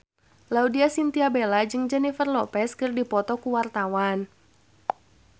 Laudya Chintya Bella jeung Jennifer Lopez keur dipoto ku wartawan